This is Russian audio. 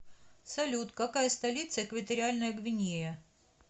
салют какая столица экваториальная гвинея